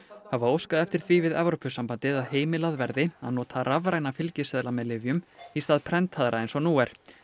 hafa óskað eftir því við Evrópusambandið að heimilað verði að nota rafræna fylgiseðla með lyfjum í stað prentaðra eins og nú er